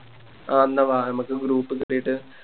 ആ എന്ന വാ നമുക്ക് Group കേറീട്ട്